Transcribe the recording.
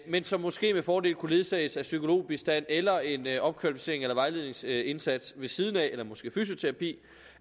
men som måske med fordel kunne ledsages af psykologbistand eller en opkvalificerings eller vejledningsindsats ved siden af eller måske fysioterapi